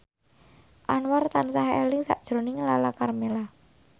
Anwar tansah eling sakjroning Lala Karmela